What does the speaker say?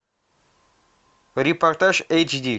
репортаж эйч ди